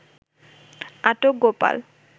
আটক গোপাল